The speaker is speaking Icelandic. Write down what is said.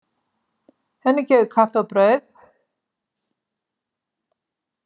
Henni gefið kaffi og brauð.